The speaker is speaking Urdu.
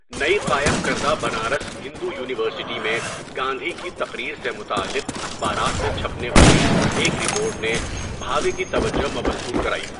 نئی قائم کردہ بنارس ہندو یونیورسٹی میں گاندھی کی تقریر سے متعلق اخبارات میں چھپنے والی ایک رپورٹ نے بھاوے کی توجہ مبذول کرائی۔